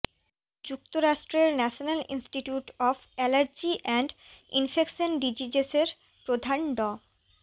যুক্তরাষ্ট্রের national institute of allergy and infectious ডিজিজেসের প্রধান ড